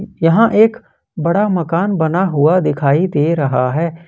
यहां एक बड़ा मकान बना हुआ दिखाई दे रहा है।